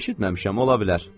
Eşitməmişəm, ola bilər.